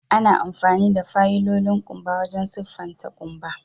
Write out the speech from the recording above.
Ana amfani da fayilolin kumba wajen siffatan kumba.